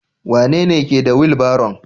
Wanene ke da wilbaron?